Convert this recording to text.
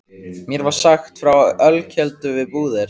Mér var sagt frá ölkeldu við Búðir.